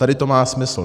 Tady to má smysl.